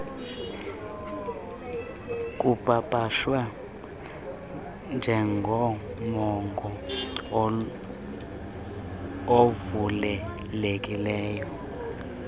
kupapashwa njengomongo ovulelekileyo